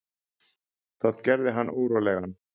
Það gerði hann órólegan.